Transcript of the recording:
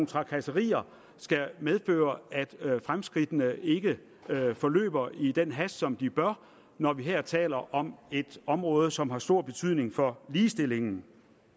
trakasserier skal medføre at fremskridtene ikke forløber i den hast som de bør forløbe når vi her taler om et område som har stor betydning for ligestillingen